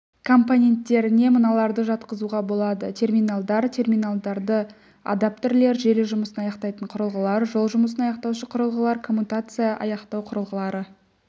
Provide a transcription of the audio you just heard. компоненттеріне мыналарды жатқызуға болады терминалдар терминалды адаптерлер желі жұмысын аяқтайтын құрылғылар жол жұмысын аяқтаушы құрылғылар коммутацияны аяқтау құрылғылары